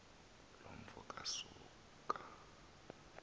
loo mfo kasoga